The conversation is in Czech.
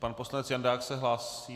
Pan poslanec Jandák se hlásí?